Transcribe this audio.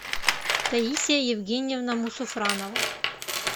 таисия евгеньевна мусуфранова